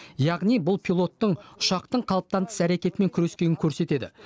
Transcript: яғни бұл пилоттың ұшақтың қалыптан тыс әрекетімен күрескенін көрсетеді